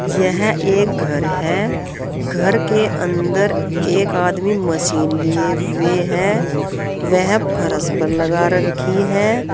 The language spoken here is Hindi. यह एक घर है। घर के अंदर एक आदमी मशीन लिए हुए है। वह फरस पर लगा रखी है।